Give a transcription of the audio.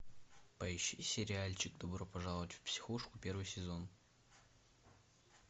поищи сериальчик добро пожаловать в психушку первый сезон